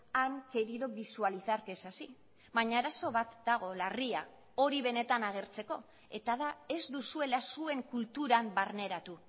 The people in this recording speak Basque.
han querido visualizar que es así baina arazo bat dago larria hori benetan agertzeko eta da ez duzuela zuen kulturan barneratu